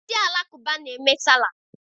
Ndị Alakụba na-eme Salah.